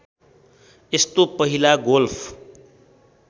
यस्तो पहिला गोल्फ